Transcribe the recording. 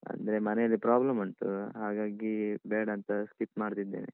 ಅಂದ್ರೆ ಮನೆಯಲ್ಲಿ problem ಉಂಟು ಹಾಗಾಗಿ ಬೇಡಂತ skip ಮಾಡ್ತಿದ್ದೇನೆ.